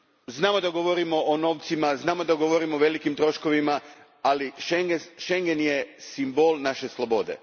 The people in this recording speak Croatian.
Znamo da govorimo o novcima, znamo da govorimo o velikim troškovima, ali Schengen je simbol naše slobode.